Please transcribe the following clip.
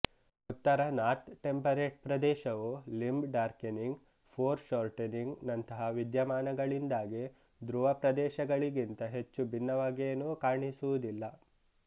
ಉತ್ತರ north temperate ಪ್ರದೇಶವು limb darkening foreshortening ನಂತಹ ವಿದ್ಯಮಾನಗಳಿಂದಾಗಿ ಧ್ರುವಪ್ರದೇಶಗಳಿಗಿಂತ ಹೆಚ್ಚು ಭಿನ್ನವಾಗೇನೂ ಕಾಣಿಸುವುದಿಲ್ಲ